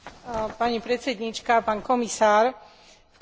V krátkosti by som sa chcela vyjadriť k trom bodom.